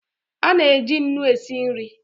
Ana-eji nnu e si nri